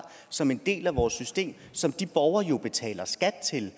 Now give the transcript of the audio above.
som en del af vores system og som de borgere jo betaler skat til